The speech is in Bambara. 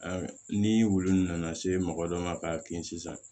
ni wulu nana se mɔgɔ dɔ ma k'a ki sisan